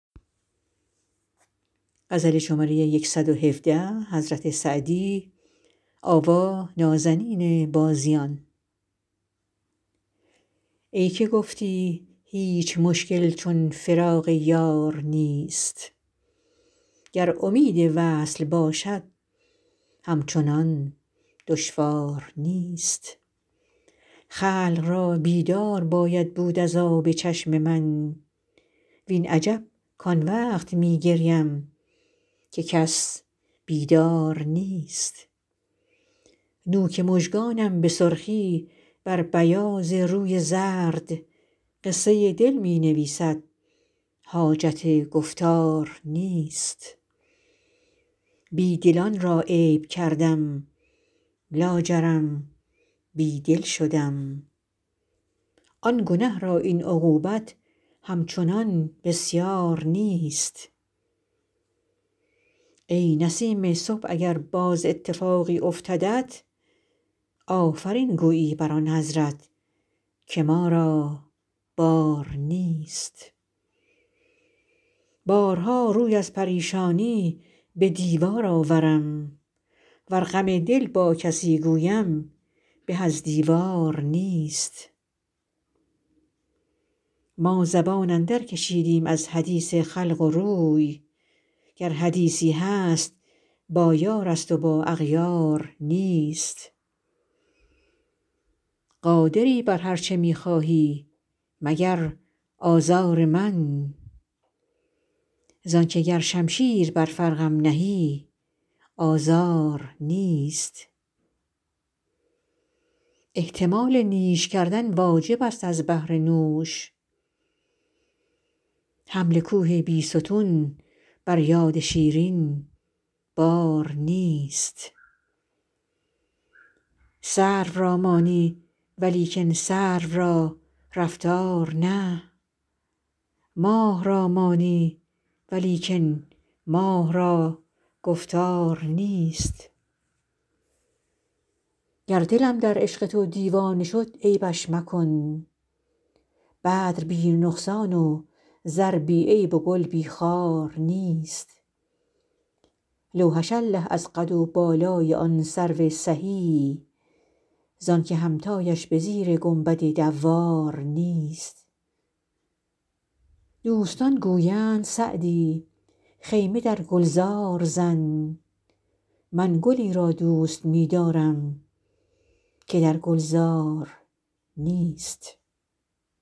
ای که گفتی هیچ مشکل چون فراق یار نیست گر امید وصل باشد همچنان دشوار نیست خلق را بیدار باید بود از آب چشم من وین عجب کان وقت می گریم که کس بیدار نیست نوک مژگانم به سرخی بر بیاض روی زرد قصه دل می نویسد حاجت گفتار نیست بی دلان را عیب کردم لاجرم بی دل شدم آن گنه را این عقوبت همچنان بسیار نیست ای نسیم صبح اگر باز اتفاقی افتدت آفرین گویی بر آن حضرت که ما را بار نیست بارها روی از پریشانی به دیوار آورم ور غم دل با کسی گویم به از دیوار نیست ما زبان اندرکشیدیم از حدیث خلق و روی گر حدیثی هست با یارست و با اغیار نیست قادری بر هر چه می خواهی مگر آزار من زان که گر شمشیر بر فرقم نهی آزار نیست احتمال نیش کردن واجبست از بهر نوش حمل کوه بیستون بر یاد شیرین بار نیست سرو را مانی ولیکن سرو را رفتار نه ماه را مانی ولیکن ماه را گفتار نیست گر دلم در عشق تو دیوانه شد عیبش مکن بدر بی نقصان و زر بی عیب و گل بی خار نیست لوحش الله از قد و بالای آن سرو سهی زان که همتایش به زیر گنبد دوار نیست دوستان گویند سعدی خیمه بر گلزار زن من گلی را دوست می دارم که در گلزار نیست